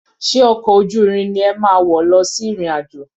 Ṣe ọkọ̀ ojú irin ni ẹ máa wọ̀ lọ sí ìrìn-àjò?